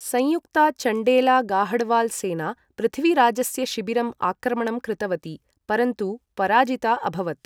संयुक्ता चण्डेला गाहडवाल सेना पृथ्वीराजस्य शिबिरं आक्रमणं कृतवती, परन्तु पराजिता अभवत्।